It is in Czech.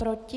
Proti?